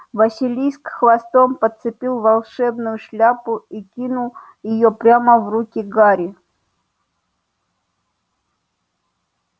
василиск хвостом подцепил волшебную шляпу и кинул её прямо в руки гарри